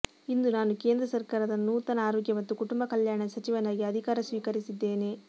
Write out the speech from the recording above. ಇಂದು ನಾನು ಕೇಂದ್ರ ಸರ್ಕಾರದ ನೂತನ ಆರೋಗ್ಯ ಮತ್ತು ಕುಟುಂಬ ಕಲ್ಯಾಣ ಸಚಿವನಾಗಿ ಅಧಿಕಾರ ಸ್ವೀಕರಿಸಿದ್ದೇನೆ